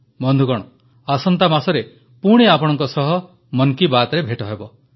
ବନ୍ଧୁଗଣ ଆସନ୍ତା ମାସରେ ପୁଣି ଆପଣଙ୍କ ସହ ମନ୍ କୀ ବାତ୍ ହେବ